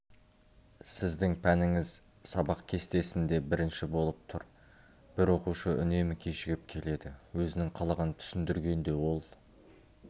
сіздің пәніңіз сабақ кестесінде бірінші болып тұр бір оқушы үнемі кешігіп келеді өзінің қылығын түсіндіргенде ол